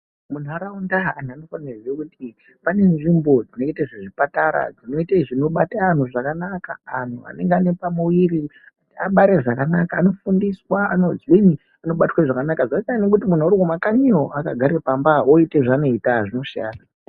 Muntaraunda antu anofane kuziya kuti pane nzvimbo dzinoite zvezvipatara, dzinoite zvinobata antu zvakananka, antu anenge anepamuviri kuti abare zvakanaka anofundiswa, anozwinyi, anobatwa zvakanaka. Zvasiyana nekuti muntu arikumakanyiyo akagare pamba oite zvaanoita, zvinosiyana.